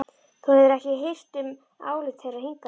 Þú hefur ekki hirt um álit þeirra hingað til.